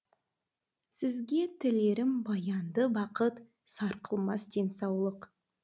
сізге тілерім баянды бақыт сарқылмас денсаулық